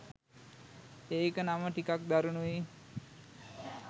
ඒක නම ටිකක් දරුණුයි.